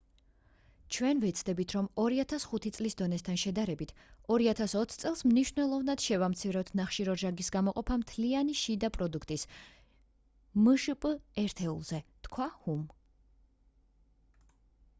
ჩვენ ვეცდებით რომ 2005 წლის დონესთან შედარებით 2020 წელს მნიშვნელოვნად შევამციროთ ნახშირორჟანგის გამოყოფა მთლიანი შიდა პროდუქტის მშპ ერთეულზე — თქვა ჰუმ